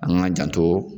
An k'an janto